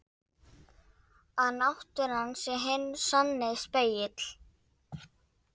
Að náttúran sé hinn sanni spegill.